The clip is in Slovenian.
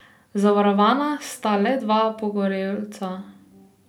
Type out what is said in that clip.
Zavarovana sta le dva pogorelca.